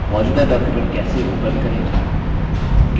मौजूदा document कैसे open करें